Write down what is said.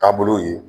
Taabolow ye